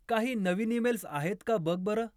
काही नवीन ईमेल्स आहेत का बघ बरं!